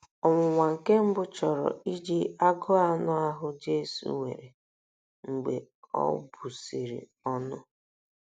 Ọnwụnwa nke mbụ chọrọ iji agụụ anụ ahụ́ Jesu nwere mgbe o busịrị ọnụ.